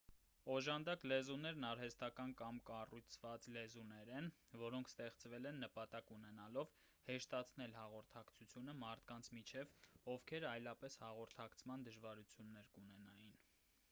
օժանդակ լեզուներն արհեստական կամ կառուցված լեզուներ են որոնք ստեղծվել են նպատակ ունենալով հեշտացնել հաղորդակցությունը մարդկանց միջև ովքեր այլապես հաղորդակցման դժվարություններ կունենային